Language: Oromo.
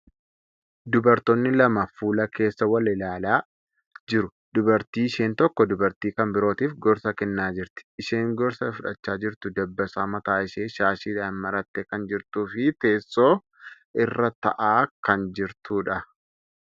Dubartootni lama fuula keessa wal ilaalaa jiru. Dubartii isheen tokko dubartii kan birootif gorsa kennaa jirti. Isheen gorsa fudhachaa jirtu dabbasaa mataa ishee shaashiidhan marattee kan jirtuu fi teessoo irraa taa'aa kan jirtuudha.